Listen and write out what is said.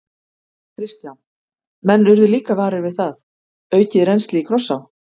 Kristján: Menn urðu líka varir við það, aukið rennsli í Krossá?